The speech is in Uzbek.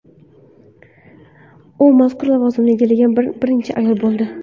U mazkur lavozimni egallagan birinchi ayol bo‘ldi.